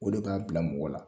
O de b'a bila mɔgɔ la.